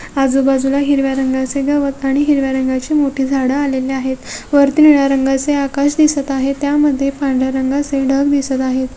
आजूबाजूला हिरव्या रंगाचे गवत आणि हिरव्या रंगाची मोठी झाडं आलेले आहेत वरती निळ्या रंगाचे आकाश दिसत आहे त्यामध्ये पांढर्‍या रंगाचे ढग दिसत आहे.